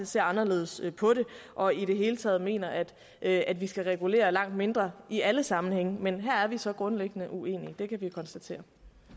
ser anderledes på det og i det hele taget mener at at vi skal regulere langt mindre i alle sammenhænge men her er vi så er grundlæggende uenige det kan vi konstatere